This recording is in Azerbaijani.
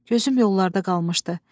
Gözüm yollarda qalmışdı.